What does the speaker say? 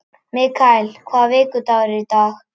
Mikael, hvaða vikudagur er í dag?